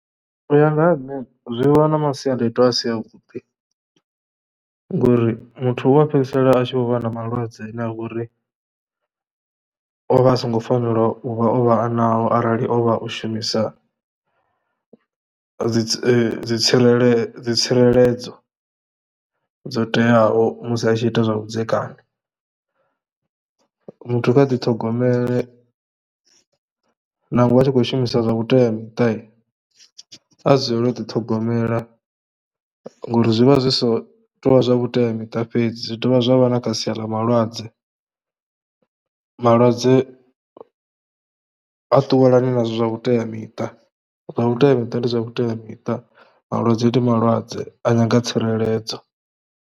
U ya nga ha nṋe zwi vha na masiandaitwa a si avhuḓi ngori muthu u a fhedzisela a tshi vho vha na malwadze ane a vha uri o vha a songo fanela u vha o vha nao arali o vha o shumisa dzi dzi tsireledzo dzi tsireledzo dzo teaho musi a tshi ita zwavhudzekani. Muthu kha ḓiṱhogomele nangwe a tshi khou shumisa zwa vhuteamuṱa, a dzulele u ḓiṱhogomela ngori zwi vha zwi so tou vha zwa vhuteamiṱa fhedzi. Zwi dovha zwa vha na kha sia ḽa malwadze, malwadze ha ṱuwelani na zwithu zwa vhuteamiṱa. Zwa vhuteamiṱa ndi zwa vhuteamiṱa, malwadze ndi malwadze a nyanga tsireledzo.